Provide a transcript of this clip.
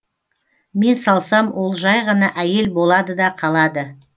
мен салсам ол жай ғана әйел болады да қалады